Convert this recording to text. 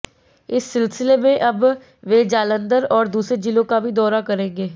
इस सिलसिले में अब वे जालंधर और दूसरे जिलों का भी दौरा करेंगे